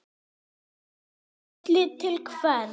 Lillý: Til hvers?